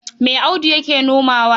Me Audu yake nomawa?